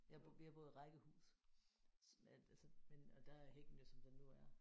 Jeg jeg boede i rækkehus så altså men og der er hækken jo som den nu er